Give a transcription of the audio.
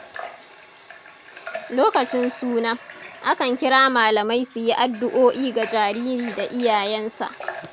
Lokacin suna, akan kira malamai su yi addu’o’i ga jariri da iyayensa.